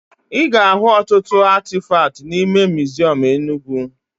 Ị ga-ahụ ọtụtụ atịfakt n'ime miziọm Enugwu